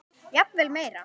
Jafnvel meira.